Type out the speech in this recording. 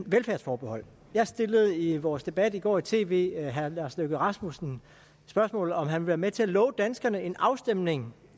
velfærdsforbehold jeg stillede i vores debat i går i tv herre lars løkke rasmussen spørgsmålet om han ville være med til at love danskerne en afstemning